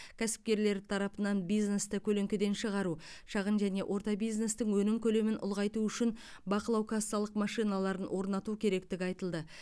кәсіпкерлер тарапынан бизнесті көлеңкеден шығару шағын және орта бизнестің өнім көлемін ұлғайту үшін бақылау кассалық машиналарын орнату керектігі айтылды